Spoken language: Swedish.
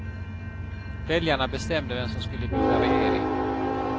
Väljarna bestämde vem som skulle bilda regering.